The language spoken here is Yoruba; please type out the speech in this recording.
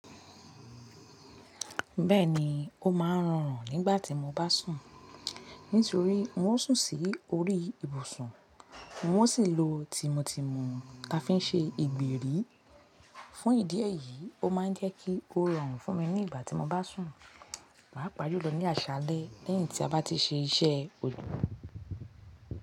Bẹ́ẹ̀ni, ó máa ń rọrùn nígbà tí mo bá sùn, nítorí n ó sùn sí orí ìbùsùn, n ó sì lo tímótímù ta fi ń ṣe ìgbèrí. Fún ìdí èyí, ó má ń jẹ́ kí ó rọrùn fún mi nígbà tí mo bá sùn. Pàápàá jù lọ ní àṣálẹ́ lẹ́yìn tí a bá ti ṣe iṣẹ́ ojọ́.